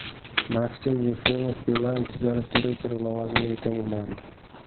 Maksim Yefremov Beeline tijorat direktori lavozimiga tayinlandi.